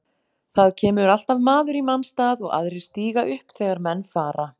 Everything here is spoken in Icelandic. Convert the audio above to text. Það kemur alltaf maður í manns stað og aðrir stíga upp þegar menn fara.